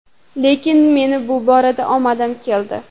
Lekin meni bu borada omadim keldi.